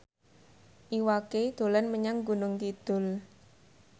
Iwa K dolan menyang Gunung Kidul